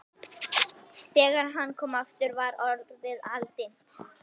Þegar hann kom aftur var orðið aldimmt.